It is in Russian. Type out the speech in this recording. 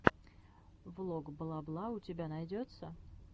влог бла бла у тебя найдется